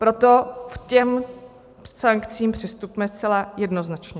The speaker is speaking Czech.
Proto k těm sankcím přistupme zcela jednoznačně.